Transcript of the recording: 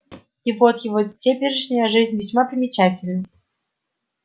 и вот его теперешняя жизнь весьма примечательна